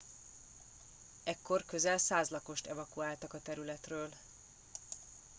ekkor közel 100 lakost evakuáltak a területről